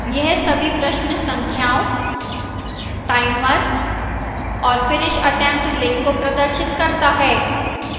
यह सभी प्रश्न संख्याओं timer और finish attempt link को प्रदर्शित करता है